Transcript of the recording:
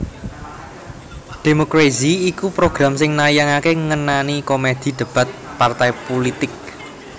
Democrazy iku program sing nayangaké ngenani komedi debat partai pulitik